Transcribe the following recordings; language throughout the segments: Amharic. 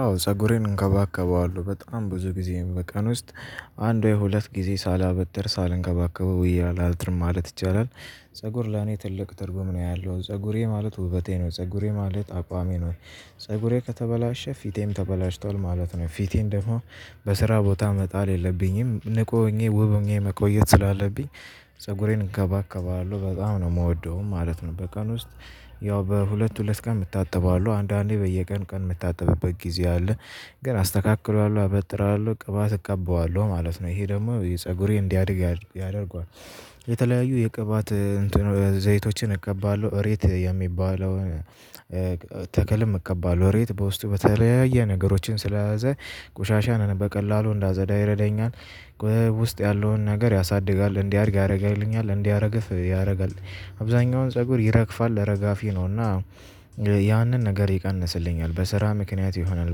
አዎ ፀጉሬን እንከባከበዋለሁ በጣም ብዙ ጊዜ በቀን ውስጥ አንድ ወይ ሁለት ጊዜ ሳላበጥር ሳልንከባከበው ወዬ አላድርም ማለት ይቻላል። ፀጉር ለኔ ትልቅ ትርጉም ነው ያለው ፀጉሬ ማለት ውበቴ ነው ፀጉሬ ማለት አቋሜ ነው ፀጉሬ ከተበላሸ ፊቴም ተበላሽቷል ማለት ነው። ፊቴን ደግሞ በስራ ቦታ መጣል የለብኝም ንቁ ሆኜ ውብ ሆኜ መቆየት ስላለብኝ። ፀጉሬን እንከባከባለሁ በጣም ነው የምወደው ማለት ነው። በቀን ውስጥ ያው በሁለት ሁለት ቀን እታተበዋለሁ አንዳንዴ በየቀን ቀን የምታጠብበት ጊዜ አለ። ግን አስተካክለዋለሁ አበጥረዋለሁ ቅባት እቀባዋለሁ ማለት ነው ይሄ ደግሞ ፀጉሬ እንዲያድግ ያደርገዋል። የተለያዩ የቅባት ዘይቶችን እቀባለሁ እሬት የሚባለውን ተክልም እቀባለሁ እሬት በውስጡ በተለያየ ነገሮችን ስለያዘ ቆሻሻንን በቀላሉ እንዳፀዳ ይረዳኛል። ውስጥ ያለውን ነገር ያሳድጋል እንዲያድግ ያደርግልኛል እንዳይረግፍ ያረጋል። አብዛኛውን ፀጉር ይረግፋል እረጋፊ ነውና ያንን ነገር ይቀንስልኛል። በስራ ምክንያት ይሆናል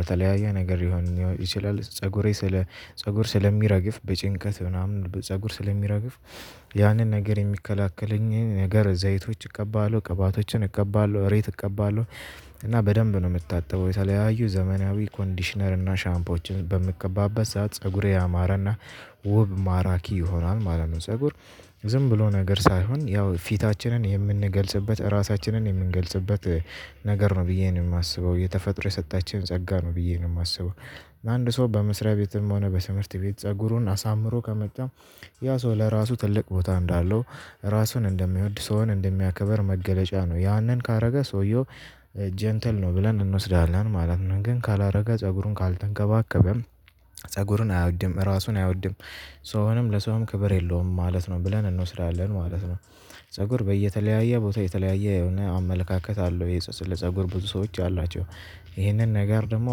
በተለያየ ነገር ሊሆን ይችላል ፀጉሬ ስለ ፀጉር ስለሚረግፍ በጭንቀት ምናምን ፀጉር ስለሚረግፍ። ያንን ነገር የሚከላከለኝ ነገር ዘይቶች እቀባለሁ ቅባቶችን እቀባለሁ እሬት እቀባለሁ። እና በደንብ ነው የምታጠበው የተለያዩ ዘመናዊ ኮንዲሽነር እና ሻምፖዎችን በምትቀባበት ሰዓት ፀጉሬ ያማረና ውብ ማራኪ ይሆናል ማለት ነው። ፀጉር ዝም ብሎ ነገር ሳይሆን ያው ፊታችንን የምንገልጽበት ራሳችንን የምንገልጽበት ነገር ነው ብዬ ነው የማስበው። የተፈጥሮ የሰጠችን ጸጋ ነው ብዬ ነው የማስበው። አንድ ሰው በመስሪያ ቤትም ሆነ በትምህርት ቤት ፀጉሩን አሳምሮ ከመጣ ያ ሰው ለራሱ ትልቅ ቦታ እንዳለው ራሱን እንደሚወድ ሰውን እንደሚያከብር መገለጫ ነው። ያንን ካደረገ ሰውየው ጀንትል ነው ብለን እንወስዳለን ማለት ነው። ግን ካላደረገ ፀጉሩን ካልተንከባከበም ፀጉሩን አይወድም ራሱን አይወድም። ሰውንም ለሰውም ክብር የለውም ማለት ነው ብለን እንወስዳለን ማለት ነው። ፀጉር በየተለያየ ቦታ የተለያየ የሆነ አመለካከት አለው ስለፀጉር ብዙ ሰዎች አሏቸው። ይህንን ነገር ደግሞ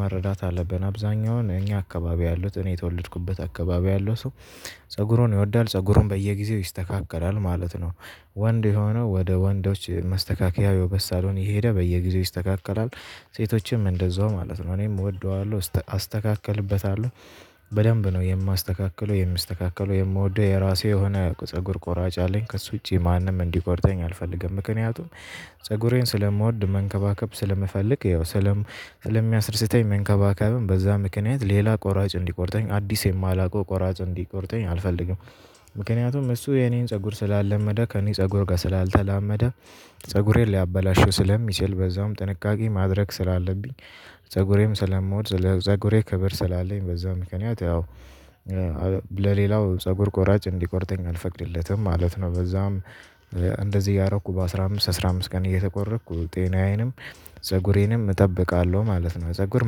መረዳት አለብን አብዛኛውን እኛ አካባቢ ያሉት እኔ የተወለድኩበት አካባቢ ያለው ሰው ፀጉሩን ይወዳል ፀጉሩን በየጊዜው ይስተካከላል ማለት ነው። ወንድ የሆነው ወደ ወንዶች መስተካከያው የውበት ሳሎን እየሄደ በየጊዜው ይስተካከላል። ሴቶችም እንደዛው ማለት ነው እኔም እወደዋለሁ አስተካክልበታለሁ። በደንብ ነው የማስተካክለው የምስተካከለው የምወደው የራሴ የሆነ ፀጉር ቆራጭ አለኝ ከእሱ ውጪ ማንም እንዲቆርጠኝ አልፈልግም። ምክንያቱም ፀጉሬን ስለምወድ መንከባከብ ስለምፈልግ ያው ስለም ስለሚያስደስተኝ መንከባከብም በዛ ምክንያት ሌላ ቆራጭ እንዲቆርጠኝ አዲስ የማላውቀው ቆራጭ እንዲቆርጠኝ አልፈልግም። ምክንያቱም እሱ የኔን ፀጉር ስላልለመደ ከኔ ፀጉር ጋር ስላልተላመደ ፀጉሬን ሊያበላሸው ስለሚችል በዛውም ጥንቃቄ ማድረግ ስላለብኝ። ፀጉሬም ስለምወድ ለፀጉሬ ክበር ስላለኝ በዛ ምክንያት ያው ለሌላው ፀጉር ቆራጭ እንዲቆርጠኝ አልፈቅድለትም ማለት ነው። በዛም እንደዚህ እያረኩ በ አስራ አምስት አስራ አምስት ቀን እየተቆረጥኩ ጤናዬንም ፀጉሬንም እጠብቃለሁ ማለት ነው። ፀጉር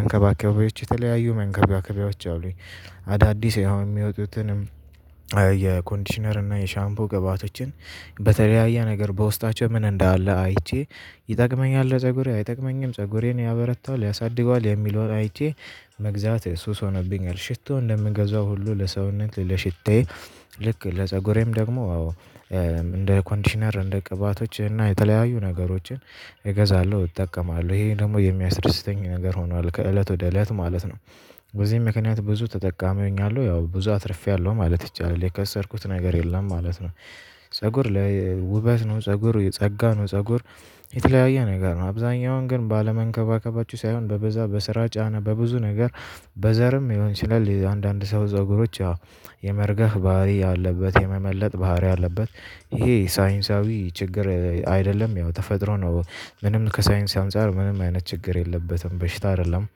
መንከባከቢያዎች የተለያዩ መንከባከቢያዎች አሉኝ። አዳዲስ የሚወጡትንም የኮንዲሽነር እና የሻምፖ ገብአቶችን በተለያየ ነገር በውስጣቸው ምን እንዳለ አይቼ ይጠቅመኛል ለፀጉሬ አይጠቅመኝም ፀጉሬን ያበረታዋል ያሳድገዋል የሚለውን አይቼ። መግዛት ሱስ ሆኖብኛል ሽቶ እንደምገዛው ሁሉ ለሰውነት ለሽታዬ ልክ ለፀጉሬም ደግሞ እንደ ኮንዲሽነር እንደ ቅባቶች እና የተለያዩ ነገሮችን እገዛለሁ እጠቀማለሁ ይሄ ደግሞ የሚያስደስተኝ ነገር ሆኗል ከእለት ወደ እለት ማለት ነው። በዚህ ምክንያት ብዙ ተጠቃሚ ሆኛለሁ ያው ብዙ አትርፌያለሁ ማለት ይቻላል የከሰርኩት ነገር የለም ማለት ነው። ፀጉር ላይ ውበት ነው ፀጉር የጸጋ ነው። ፀጉር የተለያየ ነገር ነው አብዛኛውን ግን ባለመንከባከባችሁ ሳይሆን በበዛ በስራ ጫና በብዙ ነገር በዘርም ሊሆን ይችላል። የአንዳንድ ሰው ፀጉሮች አዎ የመርገፍ ባህሪ ያለበት የመመለጥ ባህሪ ያለበት ይሄ ሳይንሳዊ ችግር አይደለም ያው ተፈጥሮ ነው። ምንም ከሳይንስ አንፃር ምንም አይነት ችግር የለበትም በሽታ አይደለም።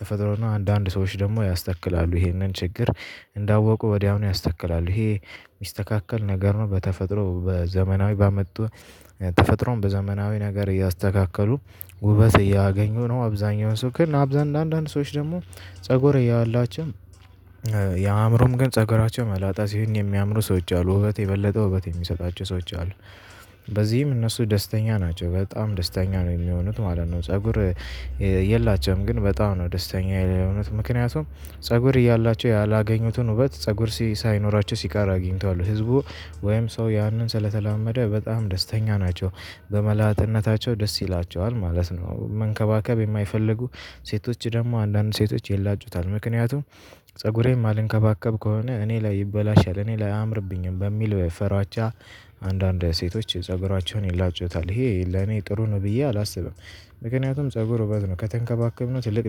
ተፈጥሮና አንዳንድ ሰዎች ደግሞ ያስተክላሉ ይሄንን ችግር እንዳወቁ ወዲያውኑ ያስተክላሉ። ይሄ ሚስተካከል ነገር ነው። በተፈጥሮ በዘመናዊ በመጡ ተፈጥሮም በዘመናዊ ነገር እያስተካከሉ ውበት እያገኙ ነው። አብዛኛውን ሰው ግን አንዳንድ ሰዎች ደግሞ ፀጉር ያላቸው የአእምሮም ግን ፀጉራቸው መላጣ ሲሆን የሚያምሩ ሰዎች አሉ ውበት የበለጠ ውበት የሚሰጣቸው ሰዎች አሉ። በዚህም እነሱ ደስተኛ ናቸው በጣም ደስተኛ ነው የሚሆኑት ማለት ነው። ፀጉር የላቸውም ግን በጣም ነው ደስተኛ የሆኑኑት ምክንያቱም ፀጉር እያላቸው ያላገኙትን ውበት ፀጉር ሳይኖራቸው ሲቀር አግኝተዋል። ህዝቡ ወይም ሰው ያንን ስለተላመደ በጣም ደስተኛ ናቸው በመላጣነታቸው ደስ ይላቸዋል ማለት ነው። መንከባከብ የማይፈልጉ ሴቶች ደግሞ አንዳንድ ሴቶች ይላጩታል ምክንያቱም ፀጉሬን ማልንከባከብ ከሆነ እኔ ላይ ይበላሻል እኔ ላይ አያምርብኝም በሚል ፍራቻ አንዳንድ ሴቶች ፀጉራቸውን ይላጩታል ይሄ ለኔ ጥሩ ነው ብዬ አላስብም። ምክንያቱም ፀጉር ውበት ነው ከተንከባከብነው ትልቅ